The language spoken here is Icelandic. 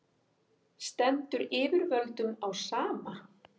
stendur yfirvöldum á sama